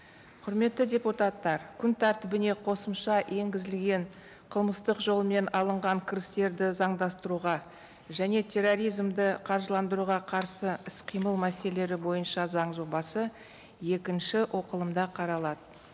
құрметті депутаттар күн тәртібіне қосымша енгізілген қылмыстық жолмен алынған кірістерді заңдастыруға және терроризмді қаржыландыруға қарсы іс қимыл мәселелері бойынша заң жобасы екінші оқылымда қаралады